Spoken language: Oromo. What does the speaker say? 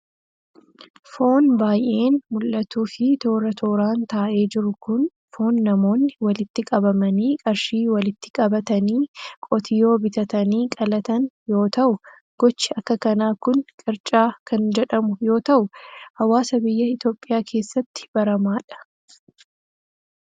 Foon baay'een mul'atuu fi toora tooran taa'ee jiru kun, foon namoonni walitti qabamanii qarshii walitti qabatanii qotiyoo bitatanii qalatan yoo ta'u, gochi akka kanaa kun qirca kan jedhamu yoo ta'u ,hawaasa biyya Itoophiyaa keessatti baramaa dha.